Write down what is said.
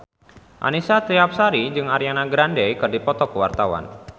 Annisa Trihapsari jeung Ariana Grande keur dipoto ku wartawan